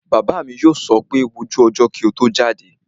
Bàbá mi yóò sọ pé 'wo ojú ọjọ́ kí o tó jáde'